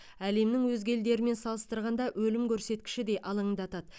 әлемнің өзге елдермен салыстырғанда өлім көрсеткіші де алаңдатады